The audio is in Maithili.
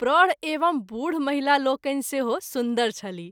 प्रौढ एवं बूढ महिला लोकनि सेहो सुन्दर छलीह।